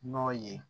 N'ɔ ye